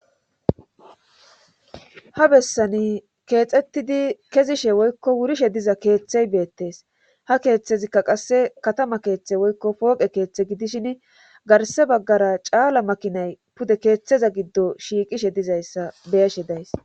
Ha bessani keexettidi kezishe woykko wurishe diza keeththey beettes ha keeththezikka qasse katama keeththe woykko pooqe keeththe gidishin garse baggara caala makinay pude keeththeza giddo shiiqishe dizayssa beyashe days.